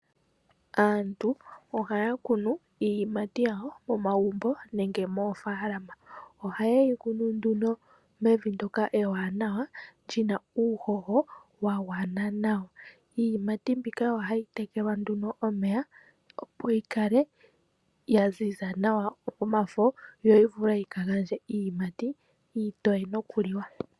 Aantu ohaya kunu iiyimati yawo momagumbo nenge moofalama. Ohaye yi kunu nduno mevi ndoka ewanawa lyina uuhoho wa gwana nawa. Iiyimati mbika ohayi tekelwa nduno omeya opo yi kale ya ziza nawa omafo, yo yi vule yika gandje iiyimati iitoye nokuliwa.